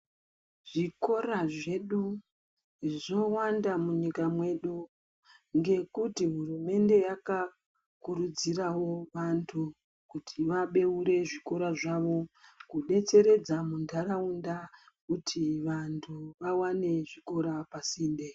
Zvikora zvedu zvowanda munyika medu ngekuti hurumende yakakurudzirawo vantu kuti vabeurewo zvikora zvawo kudetseredza mundaraunda kuti vantu vawane zvikora pasinde.